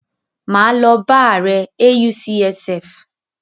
Máa lọ bá ààrẹ AUCSF.